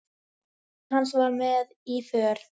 Kona hans var með í för.